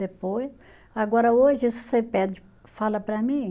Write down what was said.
Depois, agora hoje, se você pede, fala para mim.